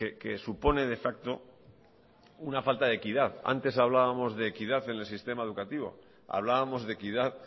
que supone de facto una falta de equidad antes hablábamos de equidad en el sistema educativo hablábamos de equidad